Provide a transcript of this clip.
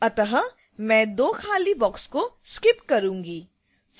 अत: मैं दो खाली boxes को skip करूंगी